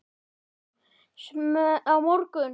Á morgun.